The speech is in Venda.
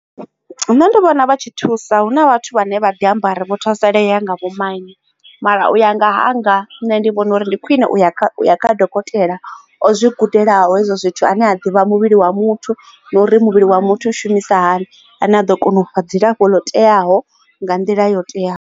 Nṋe ndi vhona vha tshi thusa huna vhathu vhane vha ḓi amba uri vho thusalea nga vho maine mara u ya nga hanga nṋe ndi vhona uri ndi khwine u ya dokotela o zwi gudelaho hezwo zwithu ane a ḓivha muvhili wa muthu na uri muvhili wa muthu u shumisa hani ane a ḓo kona ufha dzilafho lo teaho nga nḓila yo teaho.